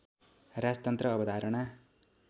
राजतन्त्र अवधारणा